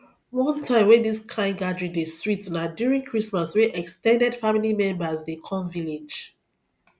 one time wey this kind gathering dey sweet na during christmas wey ex ten ded family members dey come village